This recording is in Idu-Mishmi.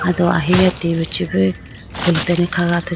do ahiya T V chibi khulitene kha athuji.